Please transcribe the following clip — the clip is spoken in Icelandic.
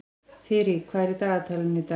Þyrí, hvað er í dagatalinu í dag?